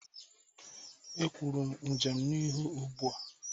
E kwuru m Njem n'ihu ụgbua